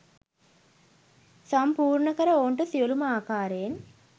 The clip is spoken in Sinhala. සම්පූර්ණකර ඔවුන්ට සියලුම ආකාරයෙන්